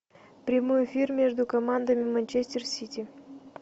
прямой эфир между командами манчестер сити